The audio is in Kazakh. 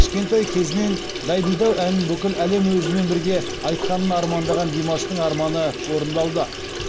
кішкентай кезінен дайдидау әнін бүкіл әлем өзімен бірге айтқанын армандаған димаштың арманы орындалды